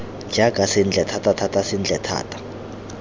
jaaka sentle thatathata sentle thata